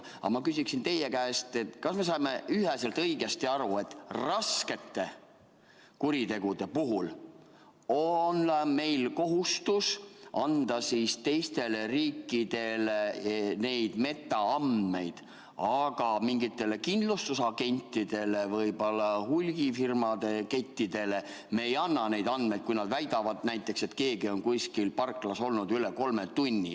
Aga ma küsiksin teie käest, kas me saame üheselt õigesti aru, et raskete kuritegude puhul on meil kohustus anda teistele riikidele neid metaandmeid, aga mingitele kindlustusagentidele ja hulgifirmade kettidele me ei anna neid andmeid, kui nad väidavad näiteks, et keegi on kuskil parklas olnud üle kolme tunni.